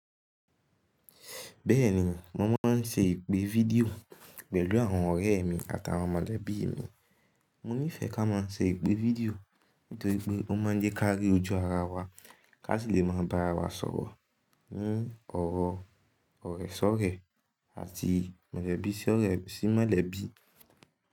Bẹ́ẹ̀ni, mo máa ń ṣe ìpè fídíò pẹ̀lú àwọn ọ̀rẹ́ mi àtàwọn mọ̀lẹ́bí mi. Mo nífẹ̀ẹ́ ká má a ṣe ìpè fídíò nítorí pé ó má a ń jẹ́ ká rí ojú ara wa, ká si lè má a ba ara wa sọ̀rọ̀ ní ọ̀rọ̀ ọ̀rẹ́ sọ́rẹ́ àti mọ̀lẹ́bí sí ọ̀rẹ́ sí mọ̀lẹ́bí.